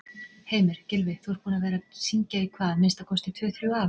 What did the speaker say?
Heimir: Gylfi, þú ert búinn að vera að syngja í hvað, minnsta kosti tvö-þrjú ár?